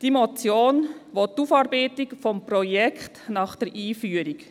Die Motion will die Aufarbeitung des Projekts nach der Einführung.